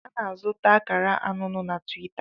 A na-azụta akara anụnụ na Tiwita.